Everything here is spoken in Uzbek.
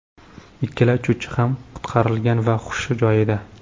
Ikkala uchuvchi ham qutqarilgan va hushi joyida.